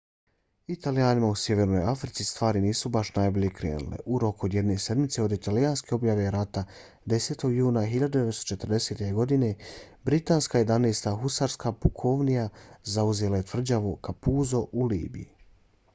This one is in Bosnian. italijanima u sjevernoj africi stvari nisu baš najbolje krenule. u roku od jedne sedmice od italijanske objave rata 10. juna 1940. godine britanska 11. husarska pukovnija zauzela je tvrđavu capuzzo u libiji